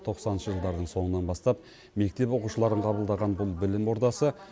тоқсаныншы жылдардың соңынан бастап мектеп оқушыларын қабылдаған бұл білім ордасы